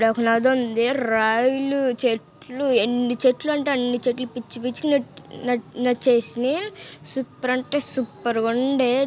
ఇక్కడ ఒక నది ఉంది రాయి లు చెట్లు ఎన్ని చెట్లు అంటే అన్ని చెట్లు పిచ్చి పిచ్చి గ నచ్-నచేసినై సూపర్ అంటే సూపర్గ ఉండే.